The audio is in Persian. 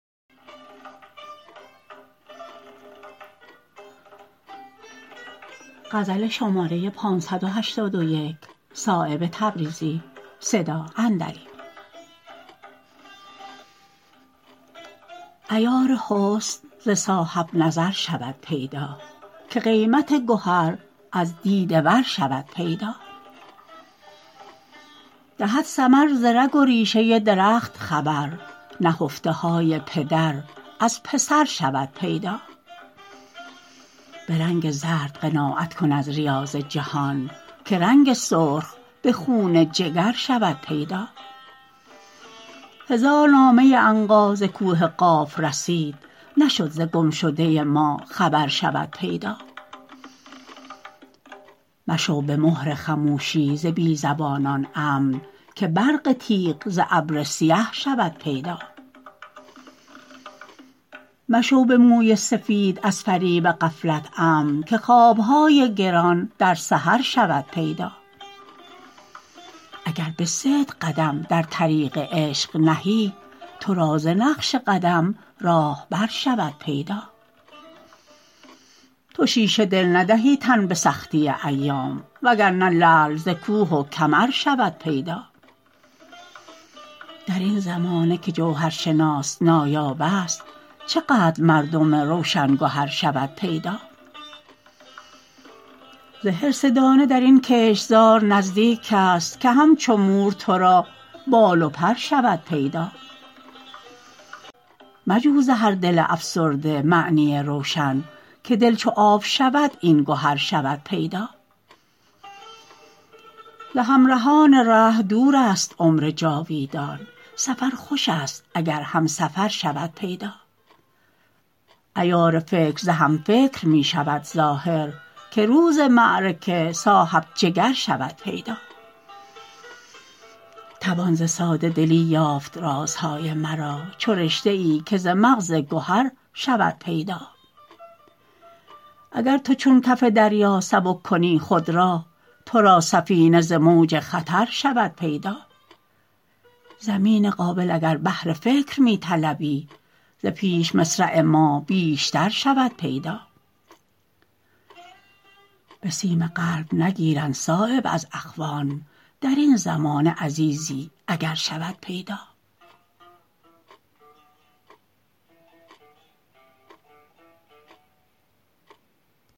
عیار حسن ز صاحب نظر شود پیدا که قیمت گهر از دیده ور شود پیدا دهد ثمر ز رگ و ریشه درخت خبر نهفته های پدر از پسر شود پیدا به رنگ زرد قناعت کن از ریاض جهان که رنگ سرخ به خون جگر شود پیدا هزار نامه عنقا ز کوه قاف رسید نشد ز گمشده ما خبر شود پیدا مشو به مهر خموشی ز بی زبانان امن که برق تیغ ز ابر سپر شود پیدا مشو به موی سفید از فریب غفلت امن که خواب های گران در سحر شود پیدا اگر به صدق قدم در طریق عشق نهی ترا ز نقش قدم راهبر شود پیدا تو شیشه دل ندهی تن به سختی ایام وگرنه لعل ز کوه و کمر شود پیدا درین زمانه که جوهرشناس نایاب است چه قدر مردم روشن گهر شود پیدا ز حرص دانه درین کشتزار نزدیک است که همچو مور ترا بال و پر شود پیدا مجو ز هر دل افسرده معنی روشن که دل چو آب شود این گهر شود پیدا ز همرهان ره دورست عمر جاویدان سفر خوش است اگر همسفر شود پیدا عیار فکر ز همفکر می شود ظاهر که روز معرکه صاحب جگر شود پیدا توان ز ساده دلی یافت رازهای مرا چو رشته ای که ز مغز گهر شود پیدا اگر تو چون کف دریا سبک کنی خود را ترا سفینه ز موج خطر شود پیدا زمین قابل اگر بهر فکر می طلبی ز پیش مصرع ما بیشتر شود پیدا به سیم قلب نگیرند صایب از اخوان درین زمانه عزیزی اگر شود پیدا